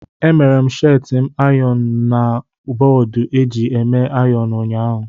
E mere m sheeti m ayọn na bọọdụ eji eme ayon ụnyaahụ.